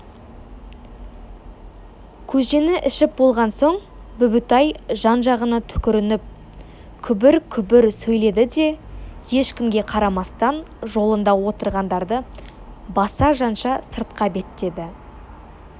көжені ішіп болған соң бүбітай жан-жағына түкірініп күбір-күбір сөйледі де ешкімге қарамастан жолында отырғандарды баса-жанша сыртқа беттеді